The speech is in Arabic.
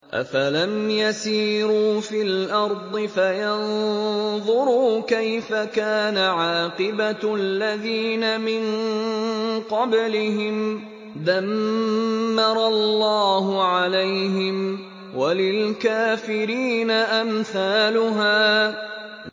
۞ أَفَلَمْ يَسِيرُوا فِي الْأَرْضِ فَيَنظُرُوا كَيْفَ كَانَ عَاقِبَةُ الَّذِينَ مِن قَبْلِهِمْ ۚ دَمَّرَ اللَّهُ عَلَيْهِمْ ۖ وَلِلْكَافِرِينَ أَمْثَالُهَا